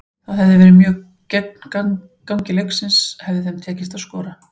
Það hefði verið mjög gegn gangi leiksins hefði þeim tekist að skora.